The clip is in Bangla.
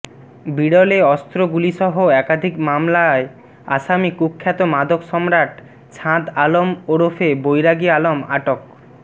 বিরলে অস্ত্র গুলিসহ একাধিক মামলার আসামী কুখ্যাত মাদক সম্রাট ছাঁদ আলম ওরফে বৈরাগী আলম আটক